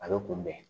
A bɛ kunbɛn